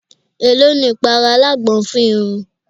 È ló ni ìpara alágbọn fún irun?